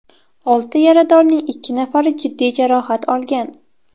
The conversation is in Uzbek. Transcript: Olti yaradorning ikki nafari jiddiy jarohat olgan.